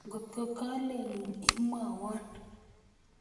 ngotko kalelun imwaiwon